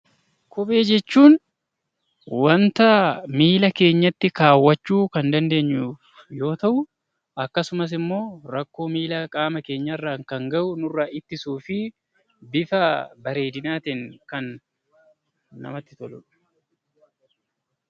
Kophee jechuun waanta miila keenyatti kaawachuu kan dandeenyu yoo ta'u akkasumas immoo rakkoo qaama miila keenya irraan gahu ittisuu fi bifa bareedinaa ta'een kan namatti toludha.